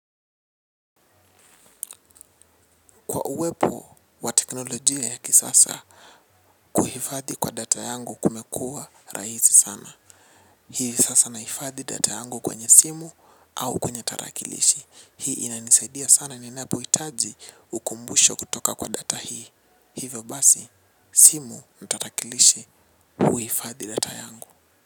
Kwa uwepo wa teknolojia ya kisasa, kuhifadhi kwa data yangu kumekuwa rahisi sana. Hii sasa nahifadhi data yangu kwenye simu au kwenye tarakilishi. Hii inanisaidia sana ninapo hitaji ukumbusho kutoka kwa data hii. Hivyo basi, simu tarakilishi uhifadhi data yangu.